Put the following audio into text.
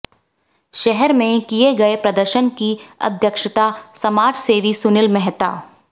शहर में किए गए प्रदर्शन की अध्यक्षता समाजसेवी सुनील मेहता